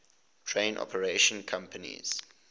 train operating companies